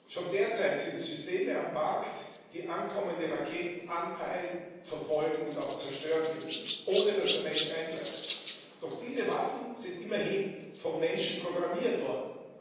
Schon derzeit sind Systeme auf dem Markt, die ankommende Raketen anpeilen, verfolgen und auch zerstören können, ohne dass der Mensch eingreift. Doch diese Waffen sind immerhin vom Menschen programmiert worden.